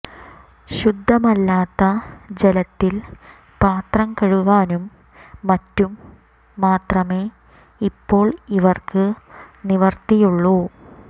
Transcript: ശുദ്ധമല്ലാത്ത ജലത്തിൽ പാത്രം കഴുകാനും മറ്റും മാത്രമേ ഇപ്പോൾ ഇവർക്ക് നിവൃത്തിയുള്ളൂ